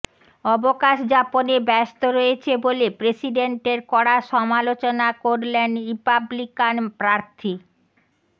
অবকাশ যাপনে ব্যস্ত রয়েছে বলে প্রেসিডেন্টের কড়া সমালোচনা করলেন রিপাবলিকান প্রার্থী